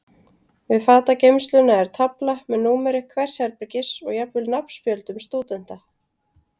Við fatageymsluna er tafla með númeri hvers herbergis og jafnvel nafnspjöldum stúdenta.